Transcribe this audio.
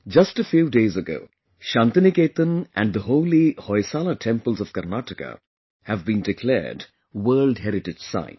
Just a few days ago, Shantiniketan and the holy Hoysala temples of Karnataka have been declared world heritage sites